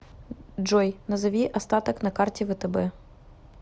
джой назови остаток на карте втб